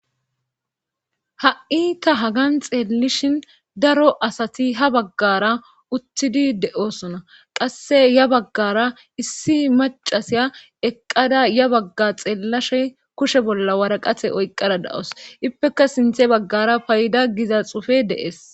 ha7i ta hagan xeellishin daro asati ha baggara uttidi de'osona qasse ya baggara issi macasiya eqqada ya bagga xeellashe kushe bolla waraqate oyqqada da'us ippeka sinthe baggara payda giza xufe de'es